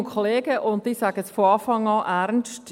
Ich sage es von Anfang an ernst.